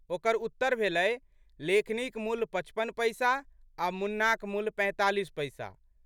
ओकर उत्तर भेलै, लेखनीक मूल्य पचपन पैसा आ मुन्नाक मूल्य पैंतालीस पैसा।